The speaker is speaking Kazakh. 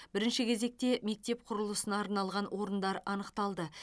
бірінші кезекте мектеп құрылысына арналған орындар анықталды